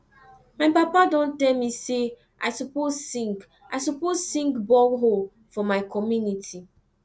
my papa dey tell me sey i suppose sink i suppose sink borehole for my community